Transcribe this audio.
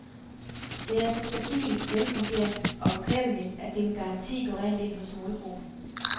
Det er så stabilt, velfungerende og bekvemmeligt, at det med garanti går rent ind hos målgruppen.